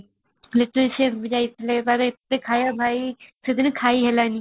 ବି ଯାଇଥିଲେ ତାର ଏତେ ଖାଇବା ଭାଇ ସେଦିନ ଖାଇ ହେଲାଣି